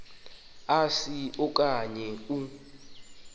asi okanye u